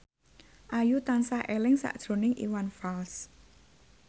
Ayu tansah eling sakjroning Iwan Fals